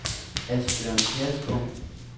Asbjørn Kjærsgaard